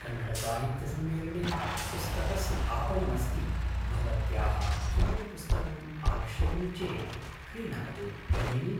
कन्नडसाहित्यसम्मेलने पुस्तकस्य आपणमस्ति भवत्याः किमपि पुस्तकम् आवश्यकं चेत् क्रीणातु भगिनि